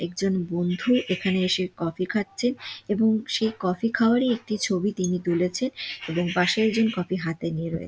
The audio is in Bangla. একজন বন্ধু এখানে এসে কফি খাচ্ছে সেই কফি খাওয়ারই একটি ছবি তিনি তুলেছে এবং পাশে একজন কফি হাতে নিয়ে রয়ে--